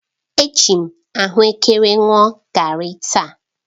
Eji m ahuekere ṅụọ garri taa.